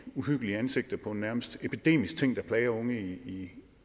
uhyggelige ansigter på en nærmest epidemisk ting der plager unge i